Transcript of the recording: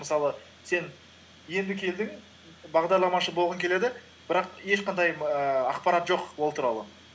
мысалы сен енді келдің бағдарламашы болғың келеді бірақ ешқандай ііі ақпарат жоқ ол туралы